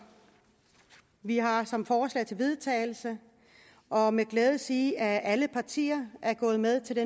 vi har som forslag til vedtagelse og med glæde sige at alle partier er gået med til det